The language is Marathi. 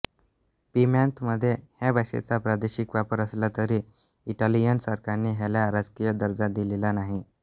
प्यिमॉंतमध्ये ह्या भाषेचा प्रादेशिक वापर असला तरी इटालियन सरकारने ह्याला राजकीय दर्जा दिलेला नाही